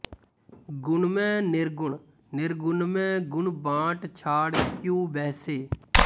ਗੁਨਮੈਂ ਨਿਰਗੁਨ ਨਿਰਗੁਨਮੈਂ ਗੁਨ ਬਾਟ ਛਾੰਡ਼ਿ ਕ੍ਯੂੰ ਬਹਿਸੇ